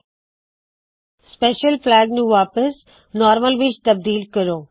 ਮਪੈਸ਼ਲ flag special flag ਨੂੰ ਵਾਪੱਸ normal normal ਵਿੱਚ ਤਬਦੀਲ ਕਰੋ